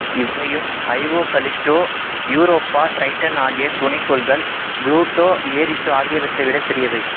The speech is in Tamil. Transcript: இவையும் ஐஓ கலிஸ்டோ யூரோப்பா டிரைட்டன் ஆகிய துணைக்கோள்கள் புளோட்டோ ஏரிசு ஆகியவற்றைவிடப் பெரியவை